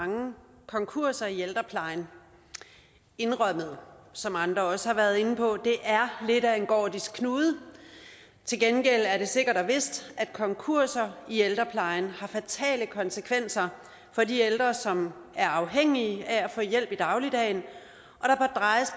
mange konkurser i ældreplejen indrømmet som andre også har været inde på det er lidt af en gordisk knude til gengæld er det sikkert og vist at konkurser i ældreplejen har fatale konsekvenser for de ældre som er afhængige af at få hjælp i dagligdagen